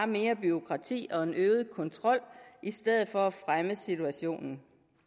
mere bureaukrati og en øget kontrol i stedet for at fremme situationen